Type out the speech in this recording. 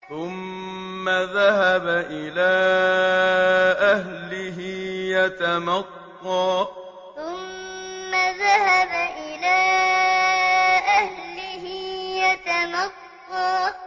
ثُمَّ ذَهَبَ إِلَىٰ أَهْلِهِ يَتَمَطَّىٰ ثُمَّ ذَهَبَ إِلَىٰ أَهْلِهِ يَتَمَطَّىٰ